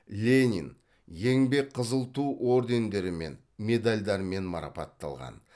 ленин еңбек қызыл ту ордендерімен медальдармен марапатталған